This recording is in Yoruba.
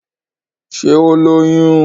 Ṣé ó lóyún?